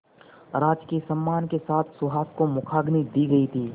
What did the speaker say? राजकीय सम्मान के साथ सुहास को मुखाग्नि दी गई थी